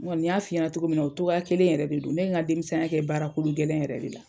N kɔni y'a fi ɲɛna togo min na o togo ya kelen in yɛrɛ de don ne ye n ka denmisɛn ya kɛ baara kolo gɛlen yɛrɛ de la.